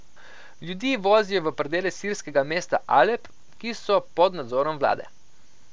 Ljudi vozijo v predele sirskega mesta Alep, ki so pod nadzorom vlade.